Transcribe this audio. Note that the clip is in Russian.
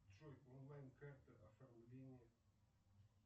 джой онлайн карта оформление